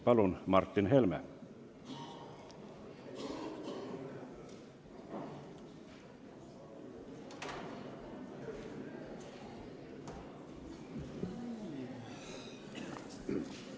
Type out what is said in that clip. Palun, Martin Helme!